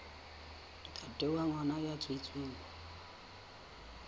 ntate wa ngwana ya tswetsweng